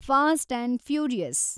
fast and furious